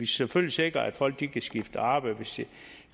selvfølgelig sikre at folk kan skifte arbejde hvis